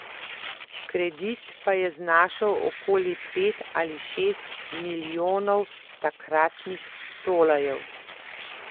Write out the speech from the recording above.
Kredit pa je znašal okoli pet ali šest milijonov takratnih tolarjev.